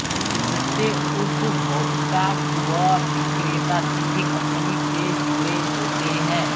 इससे उपभोक्ता व विक्रेता सीधे कंपनी से जुडे होते हैं